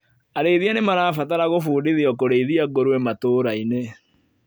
Arĩithia nimarabatara gũbundithio kũrĩithia ngũrũwe matũra-inĩ